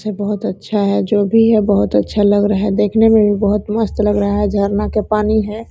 सब बहुत अच्छा है जो भी है बहुत अच्छा लग रहा है देखने में भी बहुत मस्त लग रहा है झरना के पानी है।